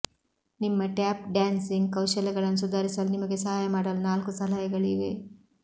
ನಿಮ್ಮ tap dancing ಕೌಶಲ್ಯಗಳನ್ನು ಸುಧಾರಿಸಲು ನಿಮಗೆ ಸಹಾಯ ಮಾಡಲು ನಾಲ್ಕು ಸಲಹೆಗಳಿವೆ